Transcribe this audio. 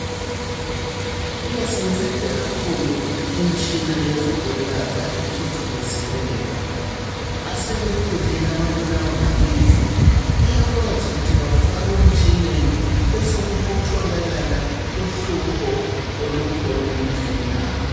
Iyasingceda kakhulu imitshina yokuzoyelapha ethuthukisiweyo asebekhulile ababulawa ngamehlo bayakwazi ukuthi befakwe emtshineni besokutholakala uhlupho olukhona emehlweni abo